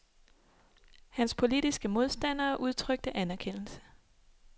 Hans politiske modstandere udtrykte anerkendelse.